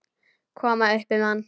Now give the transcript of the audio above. Koma upp um hann.